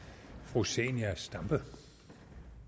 rosen og